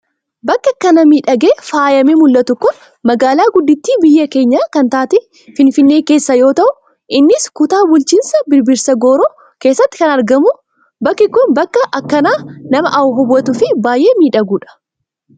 Bakki akkana miidhagee, faayamee mul'atu Kun, magaalaa gudditti biyya keenyaa kan taate, finfinnee keessaa yoo ta'u, innis kutaa bulchiinsa birbirsa gooroo keessatti kan argamu. Bakki Kun bakka akkaan nama hawwatu fi baayyee miidhaguudha.